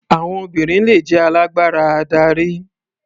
Àwọn obìnrin le jẹ́ alágbára adarí.